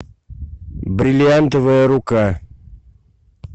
бриллиантовая рука